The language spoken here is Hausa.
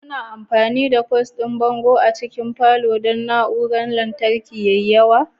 Kuna amfani da kwas ɗin bango a cikin falon don na'urorin lantarki da yawa?